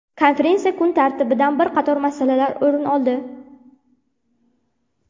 Konferensiya kun tartibidan bir qator masalalar o‘rin oldi.